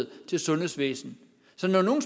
til sundhedsvæsenet så når nogle